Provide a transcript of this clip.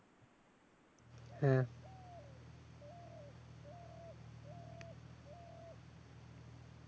হ্যাঁ।